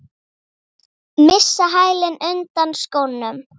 Missa hælinn undan skónum.